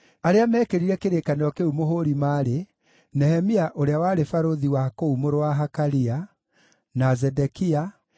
Arĩa meekĩrire kĩrĩkanĩro kĩu mũhũũri maarĩ: Nehemia ũrĩa warĩ barũthi wa kũu, mũrũ wa Hakalia, na Zedekia,